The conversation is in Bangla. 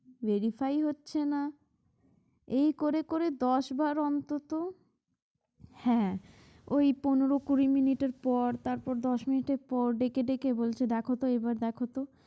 verify হচ্ছে না এই করে করে দশ বার অন্তত হ্যাঁ ওই পনেরো কুড়ি মিনিটের পর তারপর দশ মিনিটের পর ডেকে বলছে দেখোতো এইবার দেখোতো